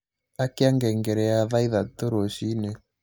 Akĩa ngengere ya thaa ĩthatũ rũcĩĩnĩ